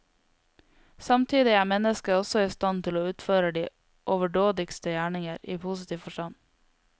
Samtidig er mennesket også i stand til å utføre de overdådigste gjerninger, i positiv forstand.